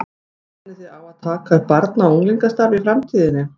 Stefnið þið á að taka upp barna og unglingastarf í framtíðinni?